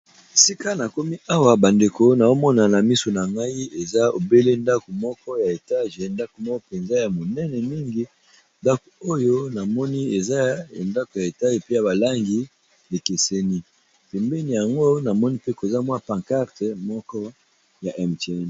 Esiika nakomi awa bandeko naomona na misu na ngai eza obele ndako moko ya etage ndako moko mpenza ya monene mingi ndako oyo namoni eza ndako ya etage pe ya balangi ekeseni pembeni yango namoni mpe koza mwa pancarte moko ya mtn.